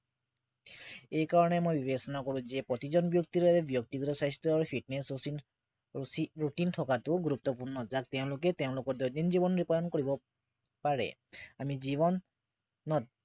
এইকাৰণে মই বিবেচনা কৰো যে প্ৰতিজন ব্য়ক্তিৰে ব্য়ক্তিগত স্বাস্থ্য় আৰু fitness routine থকাটো গুৰুত্বপূৰ্ণ যাক তেওঁলোকে তেওঁলোকৰ দৈনিক জীৱনত ৰূপায়ণ কৰিব পাৰে আমি জীৱনত